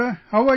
How are you